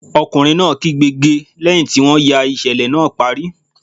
Ọkùnrin náà kígbe "ge" lẹ́hìn tí wọ́n ya ìṣẹ̀lẹ̀ náà parí.